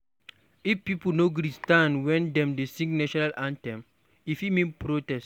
If pipo no gree to stand when dem dey sing national anthem, e fit mean protest.